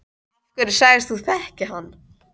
Af hverju sagðist þú þekkja hann?